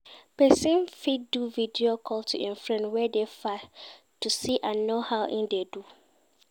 Persin fit do video call to im friend wey de far to see and know how im de do